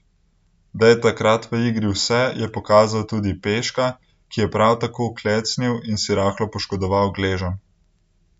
Da je takrat v igri vse, je pokazal tudi Peška, ki je prav tako klecnil in si rahlo poškodoval gleženj.